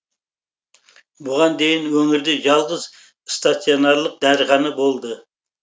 бұған дейін өңірде жалғыз стационарлық дәріхана болды